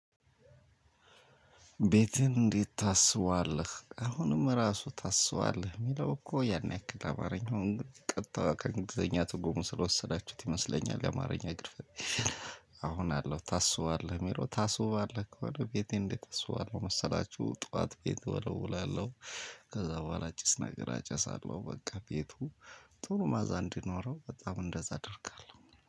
ቤትህን እንዴት ታስውባለህ አሁንም ራሱ ታስባለህ የሚለው እኮ ያን ያክል አማርኛውን ቀጥታ ከእንግሊዘኛ ትርጉሙ ስለወሰዳችሁት ይመስለኛል የአማርኛ ግድፈት አሁን አለው ታስባለህ? ሚሮ ታስውባለህ ከሆነ ቤቴ እንዴት አስውባለህ መሰላችሁ? ጠዋት ቤት ወለውላለሁ። ከዛ በኋላ ጭስ ነገር አጨሳለሁ በቃ ቤቱ ጥሩ መዓዛ እንዲኖረው በጣም እንደዛ አደርጋለሁ።